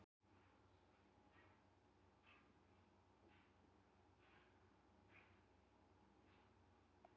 Barbára, hvaða mánaðardagur er í dag?